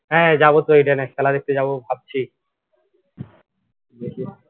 হ্যাঁ যাব তো ইডেনে খেলা দেখতে যাব ভাবছি দেখি